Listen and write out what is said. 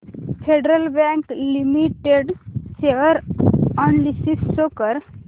federal Bank Limited share analysis show कर